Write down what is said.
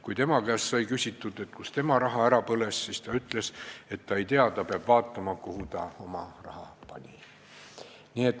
Kui tema käest sai küsitud, kus tema raha ära põles, siis ta ütles, et ta ei tea, ta peab vaatama, kuhu ta oma raha pani.